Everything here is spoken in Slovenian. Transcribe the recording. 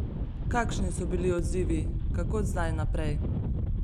Kakšni so bili odzivi, kako zdaj naprej?